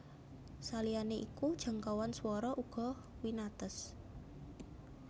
Saliyané iku jangkauan swara uga winates